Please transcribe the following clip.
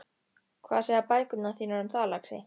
Hvað segja bækurnar þínar um það, lagsi?